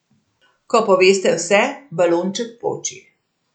Ko poveste vse, balonček poči.